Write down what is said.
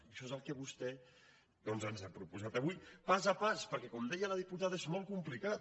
i això és el que vostè doncs ens ha proposat avui pas a pas perquè com deia la diputada és molt complicat